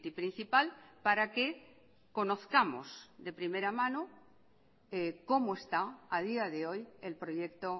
principal para que conozcamos de primera mano como está a día de hoy el proyecto